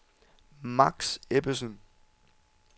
Max Ebbesen